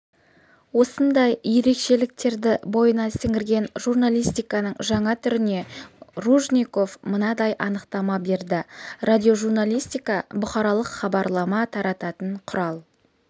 осындай ерекшеліктерді бойына сіңірген журналистиканың жаңа түріне ружников мынадай анықтама берді радиожурналистика бұқаралық хабарлама тарататын құрал